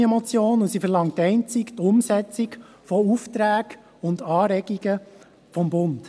Es ist eine Richtlinienmotion, und sie verlangt einzig die Umsetzung von Aufträgen und Anregungen des Bundes.